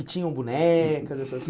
E tinham bonecas, essas